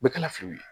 Bɛɛ kana fili u la